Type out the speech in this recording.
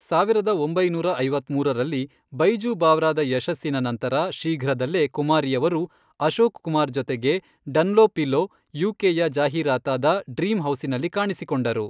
ಸಾವಿರದ ಒಂಬೈನೂರ ಐತ್ಮೂರರಲ್ಲಿ ಬೈಜೂ ಬಾವ್ರಾದ ಯಶಸ್ಸಿನ ನಂತರ, ಶೀಘ್ರದಲ್ಲೇ ಕುಮಾರಿಯವರು ಅಶೋಕ್ ಕುಮಾರ್ ಜೊತೆಗೆ ಡನ್ಲೋಪಿಲೋ ಯು.ಕೆ.ಯ ಜಾಹೀರಾತಾದ ಡ್ರೀಮ್ ಹೌಸಿನಲ್ಲಿ ಕಾಣಿಸಿಕೊಂಡರು.